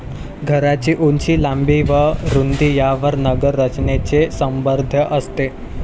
घरांची उंची, लांबी व रुंदी यांवर नगररचनेचे निर्बंध असतात.